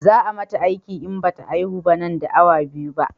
Za a mata aiki in bata haihu nan da awa biyu ba